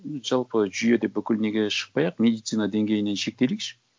ну жалпы жүйеде бүкіл неге шықпай ақ медицина деңгейінен шектелейікші